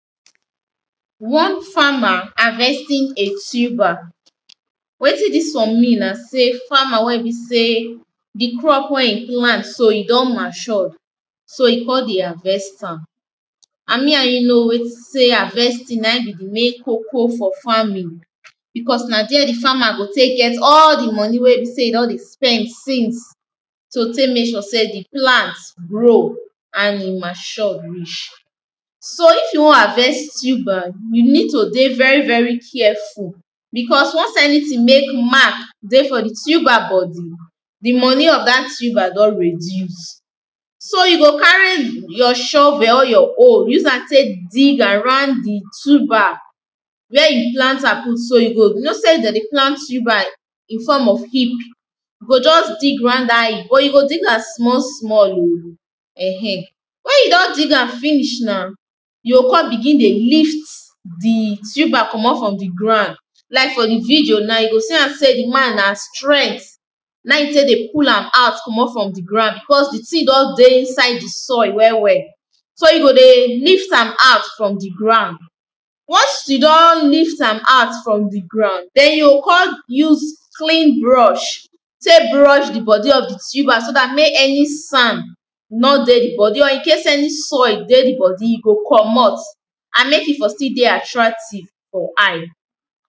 One farmer harvesting a tuber wetin dis one mean na sey farmer wey be sey di crop wey e plant so e don mature so e come dey harvest am and me and you know sey harvesting na be di main koko for farming becos na there di farmer go take get all di money wey e don dey spend since to take make sure sey di plant grow and e mature reach So if you wan harvest tuber you need to dey very very careful becos once anything dey mark for di tuber body di money of dat tuber don reduce. So you go carry your shovel or your hoe use am take dig around tuber where you plant am put so, you know sey dem dey plant tuber in form of heap you go just dig round am, but you go dig am small small oh ehen. Wen you don dig am finish na, you go come begin dey lift di tuber comot from di ground. Like for di video na you go see am sey di man na strength na e take dey pull am out comot from di ground becos di thing don dey inside di soil well well so you go dey lift am out from di ground Once you don lift am out from di ground, then you go come use Clean brush take brush di body of di tuber so dat make any sand no dey di body or in case any soil dey di body e go comot and make e for still dey attractive for eye